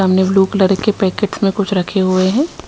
सामने blue colour के packets में कुछ रखे हुए हैं।